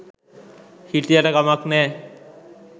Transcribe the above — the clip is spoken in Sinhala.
හිටියට කමක් නෑ.